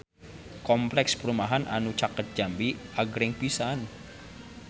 Kompleks perumahan anu caket Jambi agreng pisan